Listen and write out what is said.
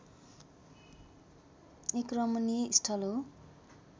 एक रमणीय स्थल हो